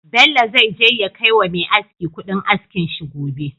Bello zai je ya kai wa Me aski Ƙudin askin shi gobe